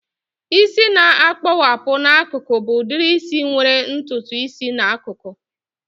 Isi a na-akpowapu n'akụkụ bụ udiri isi nwere ntutu isi n'akụkụ